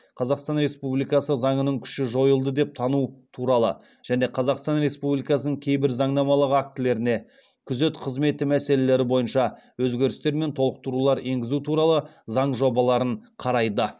қазақстан республикасы заңының күші жойылды деп тану туралы және қазақстан республикасының кейбір заңнамалық актілеріне күзет қызметі мәселелері бойынша өзгерістер мен толықтырулар енгізу туралы заң жобаларын қарайды